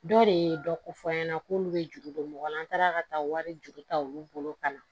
Dɔ de ye dɔ ko fɔ an ɲɛna k'olu bɛ juru don mɔgɔ la an taara ka taa wari juru ta olu bolo ka na